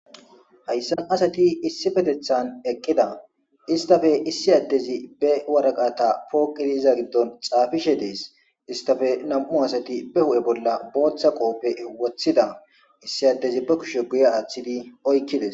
Hayssan asati issipetethan eqqida istappe issi addezi be waraqata pooqidiza giddon xaafishe dees. Istafe nam7u asati be hu7e bolla booththa qooppe woththida. Issi addezi ba kushe guya aaththidi oykkides.